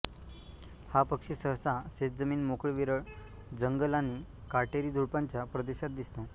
हा पक्षी सहसा शेतजमीन मोकळे विरळ जंगल आणि काटेरी झुडुपांच्या प्रदेशात दिसतो